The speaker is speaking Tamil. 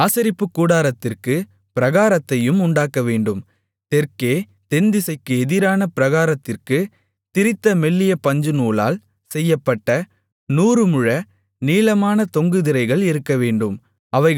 ஆசரிப்பு கூடாரத்திற்கு பிராகாரத்தையும் உண்டாக்கவேண்டும் தெற்கே தென்திசைக்கு எதிரான பிராகாரத்திற்குத் திரித்த மெல்லிய பஞ்சுநூலால் செய்யப்பட்ட நூறுமுழ நீளமான தொங்கு திரைகள் இருக்கவேண்டும்